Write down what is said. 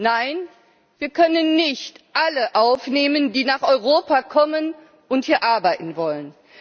Nein, wir können nicht alle aufnehmen, die nach Europa kommen und hier arbeiten wollen.